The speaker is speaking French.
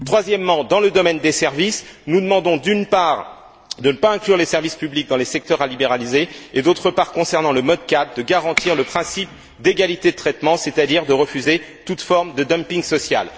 Troisièmement, dans le domaine des services, nous demandons, d'une part, de ne pas inclure les services publics dans les secteurs à libéraliser et, d'autre part, concernant le mode 4, de garantir le principe d'égalité de traitement, c'est à dire de refuser toute forme de dumping social.